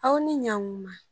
Aw ni ɲakuma